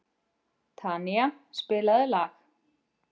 Tanía, spilaðu lag.